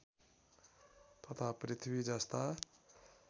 तथा पृथ्वी जस्ता